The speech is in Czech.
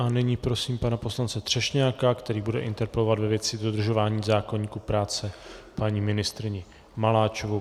A nyní prosím pana poslance Třešňáka, který bude interpelovat ve věci dodržování zákoníku práce paní ministryni Maláčovou.